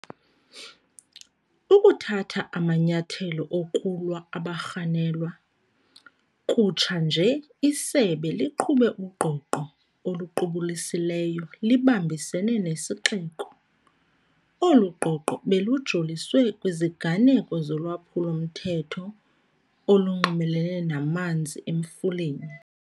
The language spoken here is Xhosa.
Ukuthatha amanyathelo okulwa abarhanelwa. Kutsha nje isebe liqhube ugqogqo oluqubulisileyo libambisene nesixeko. Olu gqogqo belujoliswe kwiziganeko zolwaphulo-mthetho olunxulumene namanzi Emfuleni.